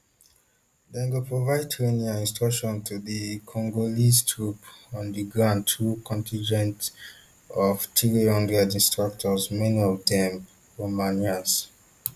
dem go provide training and instruction to di congolese troops on di ground through contingent of three hundred instructors many of dem romanians